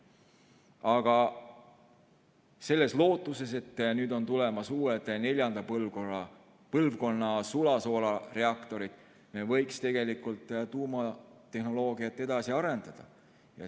Aga selles lootuses, et on tulemas uued, neljanda põlvkonna sulasoolareaktorid, me võiks tegelikult tuumatehnoloogiat edasi arendada.